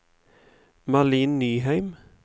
Malin Nyheim